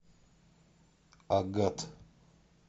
агат